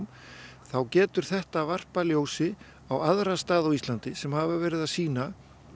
þá getur þetta varpað ljósi á aðra staði á Íslandi sem hafa verið að sýna